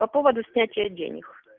по поводу снятия денег